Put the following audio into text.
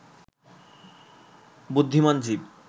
বুদ্ধিমান জীব